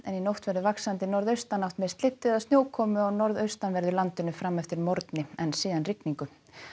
í nótt verður vaxandi norðaustanátt með slyddu eða snjókomu á norðaustanverðu landinu fram eftir morgni en síðan rigningu